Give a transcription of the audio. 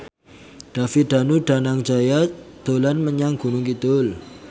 David Danu Danangjaya dolan menyang Gunung Kidul